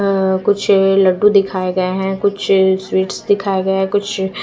अ कुछ लड्डु दिखाए गए हैं कुछ स्वीट्स दिखाए गए हैं कुछ--